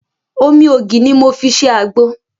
Omi ògì ni mo fi ṣe àgbo